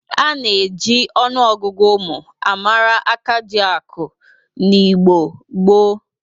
A na-eji ọnụọgụgụ ụmụ a mara akajiakụ n'Igbo gboo.